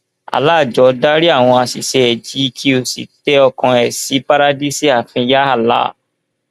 allah jọọ dárí àwọn àṣìṣe ẹ jì í kí ó sì tẹ ọkàn ẹ sí párádísè ààfin yàà allah